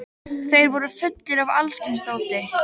Þeir voru fullir af alls kyns dóti.